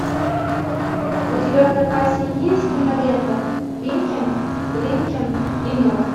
у тебя в запасе есть кинолента винкин блинкин и нод